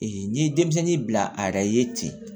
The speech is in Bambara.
n'i ye denmisɛnnin bila ara ye ten